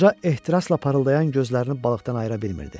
Qoca ehtirasla parıldayan gözlərini balıqdan ayıra bilmirdi.